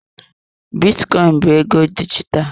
Bitcoin bụ ego dijitalụ.